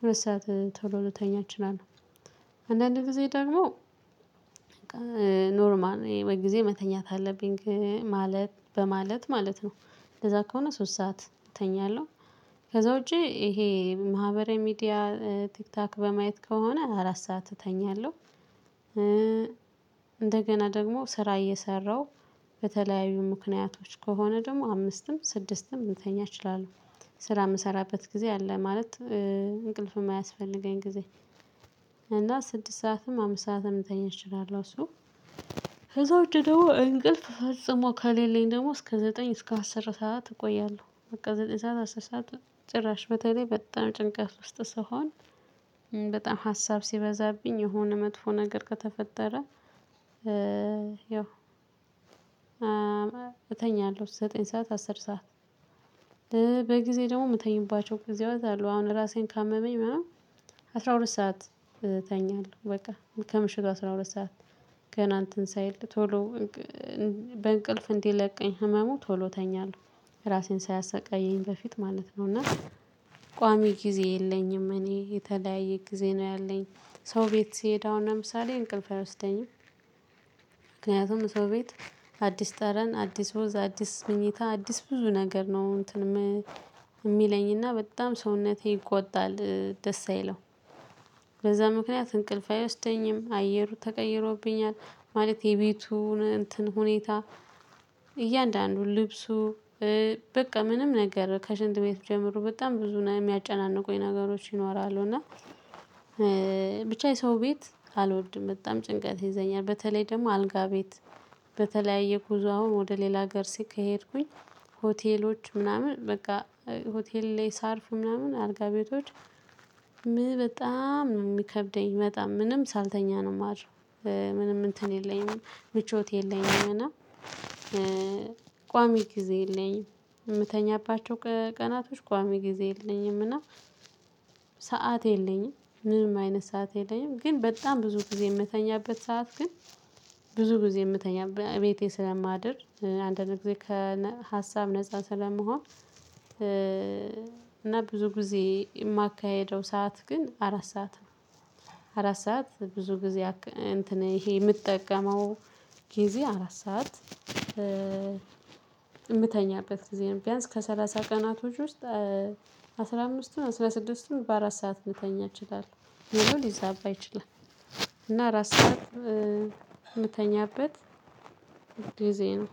ሁለት ሰዓት ቶሎ ልተኛ እችላለሁ። አንዳንድ ጊዜ ደግሞ ኖርማል ጊዜ መተኛት አለብኝ ግን ማለት በማለት ማለት ነው። እንደዛ ከሆነ ሶስት ሰዓት እተኛለሁ። ከዛ ውጪ ይሄ ማህበራዊ ሚዲያ ቲክቶክ በማየት ከሆነ አራት ሰዓት እተኛለሁ። እንደገና ደግሞ ስራ እየሰራሁ በተለያዩ ምክንያቶች ከሆነ ደግሞ አምስትም ስድስትም ልተኛ እችላለሁ። ስራ የምሰራበት ጊዜ አለ ማለት እንቅልፍም ማያስፈልገኝ ጊዜ። እና ስድስት ሰዓትም አምስት ሰዓትም እንተኛለሁ እሱ። ከዛ ውጪ ደግሞ እንቅልፍ ፈጽሞ ከሌለኝ ደግሞ እስከ ዘጠኝ እስከ አስር ሰዓት እቆያለሁ በቃ ዘጠኝ ሰዓት አስር ሰዓት። ጭራሽ በተለይ በጣም ጭንቀት ውስጥ ስሆን በጣም ሀሳብ ሲበዛብኝ የሆነ መጥፎ ነገር ከተፈጠረ። ያው እተኛለሁ ዘጠኝ ሰዓት አስር ሰዓት። በጊዜ ደግሞ የምተኛባቸው ጊዜአት አሉ አሁን ራሴን ካመመኝ ምናምን አስራ ሁለት ሰዓት እተኛለሁ በቃ ከምሽቱ አስራ ሁለት ሰዓት። ገና እንትን ሳይል ቶሎ በእንቅልፍ እንዲለቀኝ ህመሙ ቶሎ ተኛለሁ። ራሴን ሳያሰቃይኝ በፊት ማለት ነው። እና ቋሚ ጊዜ የለኝም እኔ የተለያየ ጊዜ ነው ያለኝ። ሰው ቤት ስሄድ አሁን ለምሳሌ እንቅልፍ አይወስደኝም። ምክንያቱም ሰው ቤት አዲስ ጠረን አዲስ ወዝ አዲስ ምኝታ አዲስ ብዙ ነገር ነው እንትንም የሚለኝና በጣም ሰውነቴ ይቆጣል ደስ አይለው። በዛ ምክንያት እንቅልፍ አይወስደኝም አየሩ ተቀይሮብኛል። ማለት የቤቱን እንትን ሁኔታ። እያንዳንዱን ልብሱ። በቃ ምንም ነገር ከሽንት ቤት ጀምሩ በጣም ብዙ የሚያጨናንቁኝ ነገሮች ይኖራሉ እና። ብቻ የሰው ቤት አወድም በጣም ጭንቀት ይይዘኛል። በተለይ ደግሞ አልጋ ቤት በተለያየ ጉዞ አሁን ወደ ሌላ ሀገር ሲኬሄድኩኝ። ሆቴሎች ምናምን በቃ ሆቴል ላይ ሳርፍ ምናምን አልጋ ቤቶች። በጣም ነው የሚከብደኝ በጣም ምንም ሳልተኛ ነው ማድረው። ምንም እንትን የለኝም ምቾት የለኝም እና። ቋሚ ጊዜ የለኝም። የምተኛባቸው ቀናቶች ቋሚ ጊዜ የለኝም እና ሰዓት የለኝም ምንም አይነት ሰዓት የለኝም። ግን በጣም ብዙ ጊዜ የምተኛበት ሰዓት ግን ብዙ ጊዜ የምተኛበት ቤቴ ስለማድር አንድ አንድ ጊዜ ከሀሳብ ነፃ ስለምሆን። እና ብዙ ጊዜ የማካሄደው ሰዓት ግን አራት ሰዓት ነው። አራት ሰዓት ብዙ ጊዜ እንትን ይሄ የምጠቀመው ጊዜ አራት ሰዓት። የምተኛበት ጊዜ ነው ቢያንስ ከሰላሳ ቀናቶች ውስጥ አስራ አምስቱን አስራ ስድስቱን በአራት ሰዓት ልተኛ እችላለሁ ሌላው ሊዛባ ይችላል። እና አራት ሰዓት የምተኛበት ጊዜ ነው።